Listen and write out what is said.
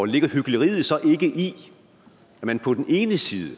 ligger hykleriet så ikke i at man på den ene side